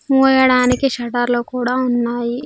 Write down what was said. ముయ్యడానికి shutter లు కూడా ఉన్నాయి.